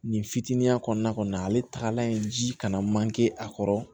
Nin fitinin kɔnɔna kɔni na ale tagalan ye ji kana manke a kɔrɔ